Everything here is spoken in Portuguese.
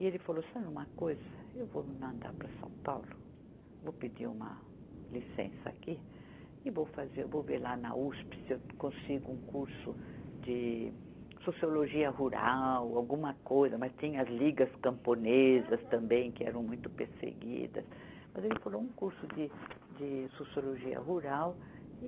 E ele falou, sabe uma coisa, eu vou me mandar para São Paulo, vou pedir uma licença aqui e vou fazer, vou ver lá na Uspe se eu consigo um curso de sociologia rural, alguma coisa, mas tinha as ligas camponesas também que eram muito perseguidas, mas ele falou um curso de, de sociologia rural e